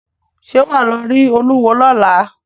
Ṣẹ́ wà á lọ rí olúwo lọ́la?